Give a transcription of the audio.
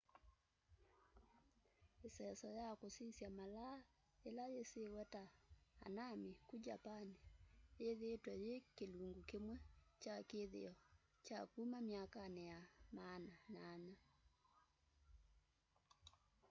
iseso ya kusisya malaa yila yisiwe ta hanami ku japan yithiitwe yi kilungu kimwe kya kithio kya kuma myakani ya maana 8